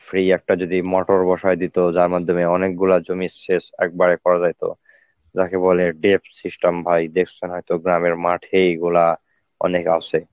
free একটা যদি motor বসায় দিত যার মাধ্যমে অনেকগুলা জমির সেচ একবারে করা যেত যাকে বলে dept system ভাই. দেখছেন হয়তো মাঠে এগুলা অনেক আছে